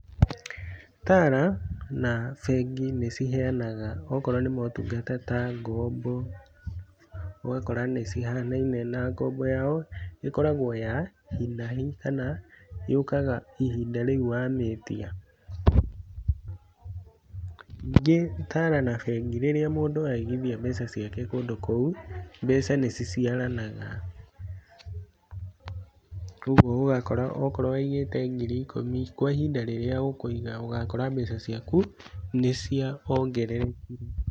Tala na bengi nĩ ciheanaga okorwo nĩ motungata ta ngombo, ũgakora nĩ cihanaine na ngombo yao ĩkoragwo ya hi na hi kana yũkaga ihinda rĩu wa mĩĩtia. Ningĩ Tala na bengi, rĩrĩa mũndũ aigithia mbeca ciake kũndũ kũu, mbeca nĩ ciciaranaga koguo ũgakora okorwo waigĩte ngiri ikũmi, kwa ihinda rĩrĩa ũkũiga ũgakora mbeca ciaku nĩ ciongererekire.